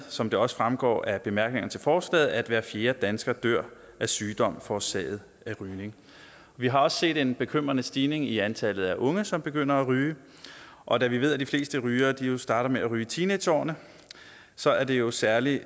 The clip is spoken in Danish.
som det også fremgår af bemærkningerne til forslaget at hver fjerde dansker dør af sygdom forårsaget af rygning vi har også set en bekymrende stigning i antallet af unge som begynder at ryge og da vi ved at de fleste rygere jo starter med at ryge i teenageårene så er det jo særlig